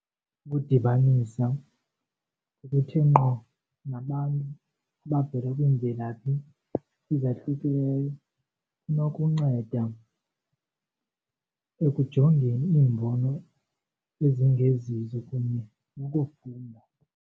Ukudibanisa okuthe ngqo nabantu abavela kwiimvelaphi ezahlukileyo kunokunceda ekujongeni iimbono ezingezizo kunye nokufunda.